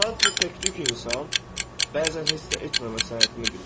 Sadəcə təktük insan bəzən heç nə etməmə səhətini bilir.